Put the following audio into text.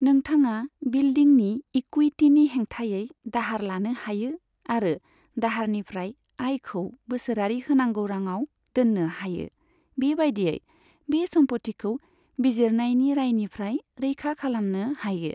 नोंथाङा बिल्डिंनि इकुइटीनि हेंथायै दाहार लानो हायो आरो दाहारनिफ्राय आयखौ बोसोरारि होनांगौ रांआव दोननो हायो, बेबादियै बै सम्फथिखौ बिजिरनायनि रायनिफ्राय रैखा खालामनो हायो।